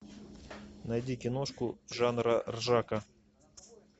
найди киношку жанра ржака